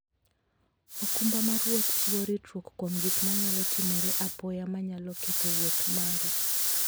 okumba mar wuoth chiwo ritruok kuom gik manyalo timore apoya manyalo ketho wuoth maru.